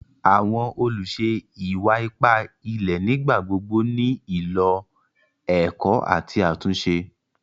Àwọn olúṣè ìwà-ìpà ìlẹ̀ nígbàgbogbo ní ilọ̀ èkó àti àtúnṣe.